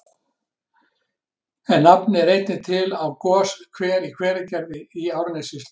En nafnið er einnig til á goshver í Hveragerði í Árnessýslu.